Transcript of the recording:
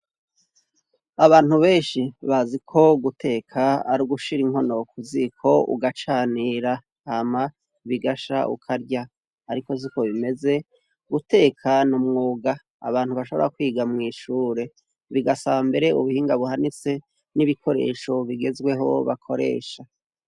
Abantu benshi bazi ko guteka ari ugushira inkono ku ziko ugacanira hama bigasha ukarya. Ariko siko bimeze. Guteka ni umwuga abantu bashobora kwiga mw'ishure; bigasaba mbere ubuhinga buhanitse n'ibikoresho bigezweho bakoresha.